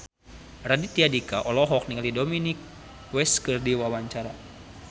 Raditya Dika olohok ningali Dominic West keur diwawancara